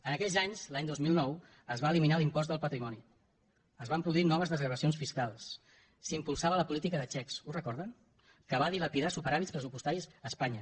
en aquells anys l’any dos mil nou es va eliminar l’impost del patrimoni es van produir noves desgravacions fiscals s’impulsava la política de xecs ho recorden que va dilapidar superàvits pressupostaris a espanya